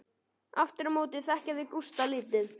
Aftur á móti þekkja þau Gústa lítið.